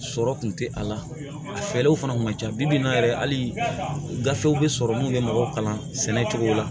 Sɔrɔ kun tɛ a la a fɛɛrɛw fana kun ca bi in na yɛrɛ hali gafew bɛ sɔrɔ mun bɛ mɔgɔw kalan sɛnɛ cogo la